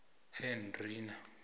hendrina